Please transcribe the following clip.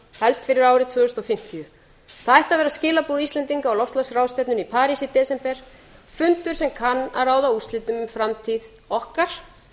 fyrir árið tvö þúsund fimmtíu það ætti að vera skilaboð íslendinga á loftslagsráðstefnunni í parís í desember fundur sem kann að ráða úrslitum um framtíð okkar